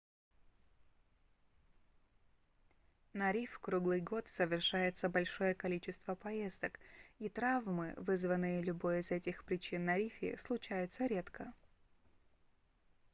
на риф круглый год совершается большое количество поездок и травмы вызванные любой из этих причин на рифе случаются редко